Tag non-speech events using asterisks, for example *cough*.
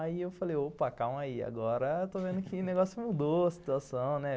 Aí eu falei, opa, calma aí, agora eu estou *laughs* vendo que o negócio mudou, a situação, né?